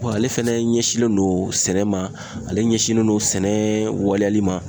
ale fɛnɛ ɲɛsinnen don sɛnɛ ma, ale ɲɛsinnen don sɛnɛ waleyali ma.